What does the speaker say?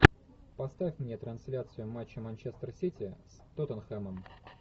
поставь мне трансляцию матча манчестер сити с тоттенхэмом